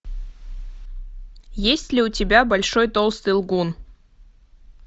есть ли у тебя большой толстый лгун